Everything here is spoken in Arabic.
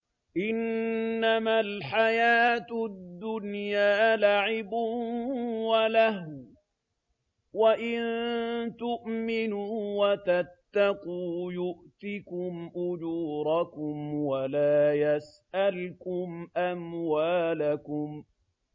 إِنَّمَا الْحَيَاةُ الدُّنْيَا لَعِبٌ وَلَهْوٌ ۚ وَإِن تُؤْمِنُوا وَتَتَّقُوا يُؤْتِكُمْ أُجُورَكُمْ وَلَا يَسْأَلْكُمْ أَمْوَالَكُمْ